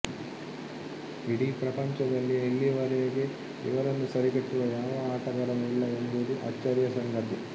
ಇಡೀ ಪ್ರಪಂಚದಲ್ಲಿಯೇ ಇಲ್ಲಿಯವರೆಗೆ ಇವರನ್ನು ಸರಿಗಟ್ಟುವ ಯಾವ ಆಟಗಾರನೂ ಇಲ್ಲ ಎಂಬುದು ಅಚ್ಚರಿಯ ಸಂಗತಿ